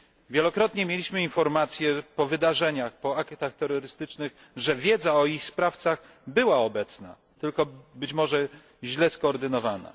Wielokrotnie mieliśmy informacje już po wydarzeniach, po aktach terrorystycznych, że wiedza o ich sprawcach była, tylko być może źle skoordynowana.